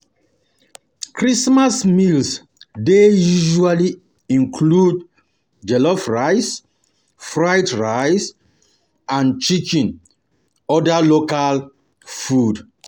Christmas meals dey usally include jollof rice, fried rice and chicken and oda local food